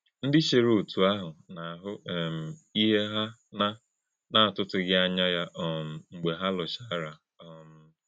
Ndị́ chè̄rè òtụ́ àhụ̄ na - àhù̄ um íhè̄ hà na na - àtụ̀tù̀ghì̄ ànyá̄ ya um mgbē hà lụ́chàrà! um